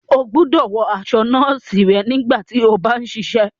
O gbọdọ wọ aṣọ nọọsi rẹ nígbàtí o bá n ṣiṣẹ!